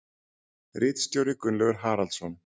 Ritstjóri Gunnlaugur Haraldsson.